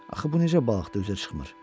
Axı bu necə balıqdır üzə çıxmır?